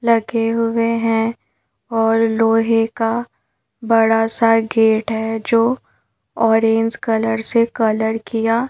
लगे हुए हैं और लोहे का बड़ा सा गेट है जो ऑरेंज कलर से कलर किया--